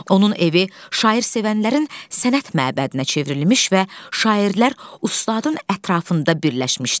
Onun evi şairsevənlərin sənət məbədinə çevrilmiş və şairlər ustadın ətrafında birləşmişdi.